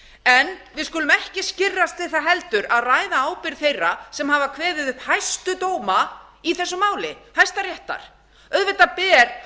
en við skulum ekki skirrast við það heldur að ræða ábyrgð þeirra sem hafa kveðið upp hæstu dóma í þessu máli hæstaréttar auðvitað ber